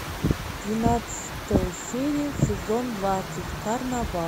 двенадцатая серия сезон двадцать карнавал